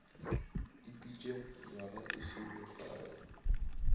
ipeetše nywaga e se mekae